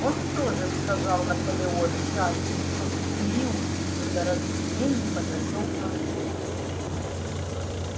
он тоже сказал наполеон счастлив что период недоразумений подошёл к концу